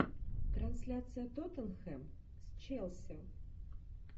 трансляция тоттенхэм с челси